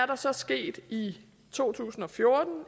der så sket i to tusind og fjorten